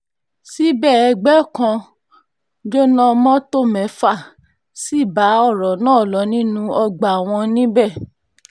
síbẹ̀ ẹgbẹ́ kan jóná mọ́tò mẹ́fà sí bá ọ̀rọ̀ náà lọ nínú ọgbà wọn níbẹ̀